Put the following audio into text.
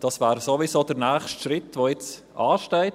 Das wäre sowieso der nächste Schritt, der ansteht.